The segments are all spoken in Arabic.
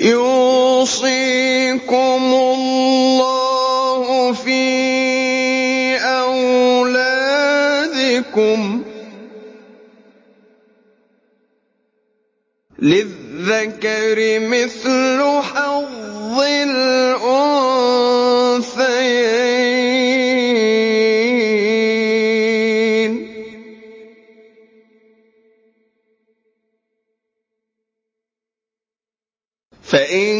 يُوصِيكُمُ اللَّهُ فِي أَوْلَادِكُمْ ۖ لِلذَّكَرِ مِثْلُ حَظِّ الْأُنثَيَيْنِ ۚ فَإِن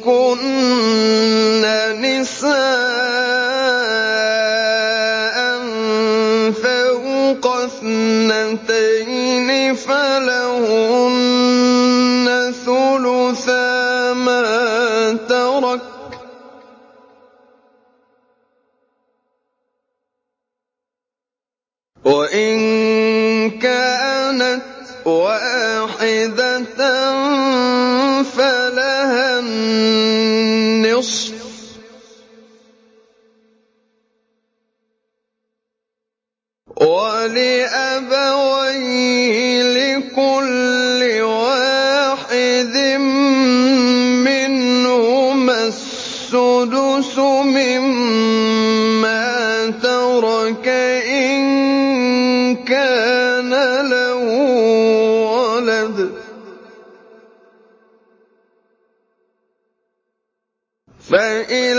كُنَّ نِسَاءً فَوْقَ اثْنَتَيْنِ فَلَهُنَّ ثُلُثَا مَا تَرَكَ ۖ وَإِن كَانَتْ وَاحِدَةً فَلَهَا النِّصْفُ ۚ وَلِأَبَوَيْهِ لِكُلِّ وَاحِدٍ مِّنْهُمَا السُّدُسُ مِمَّا تَرَكَ إِن كَانَ لَهُ وَلَدٌ ۚ فَإِن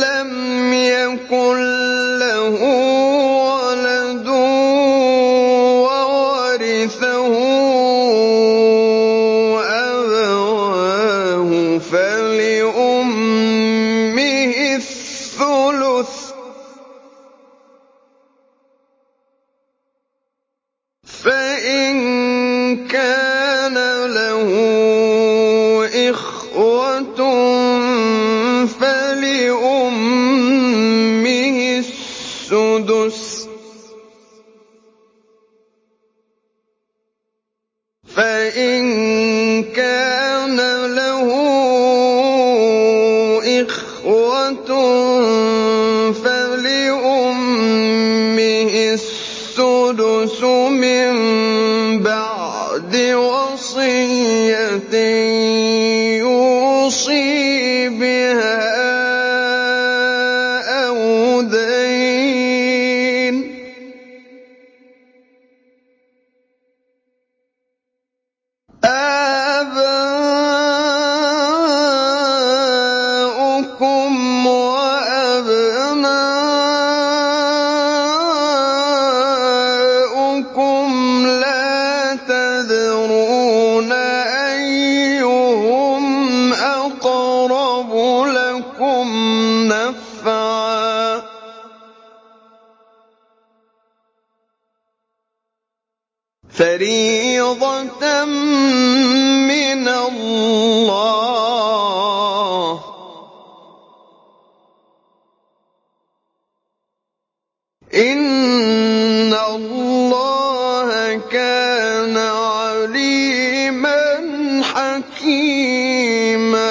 لَّمْ يَكُن لَّهُ وَلَدٌ وَوَرِثَهُ أَبَوَاهُ فَلِأُمِّهِ الثُّلُثُ ۚ فَإِن كَانَ لَهُ إِخْوَةٌ فَلِأُمِّهِ السُّدُسُ ۚ مِن بَعْدِ وَصِيَّةٍ يُوصِي بِهَا أَوْ دَيْنٍ ۗ آبَاؤُكُمْ وَأَبْنَاؤُكُمْ لَا تَدْرُونَ أَيُّهُمْ أَقْرَبُ لَكُمْ نَفْعًا ۚ فَرِيضَةً مِّنَ اللَّهِ ۗ إِنَّ اللَّهَ كَانَ عَلِيمًا حَكِيمًا